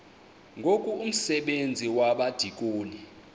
ngoku umsebenzi wabadikoni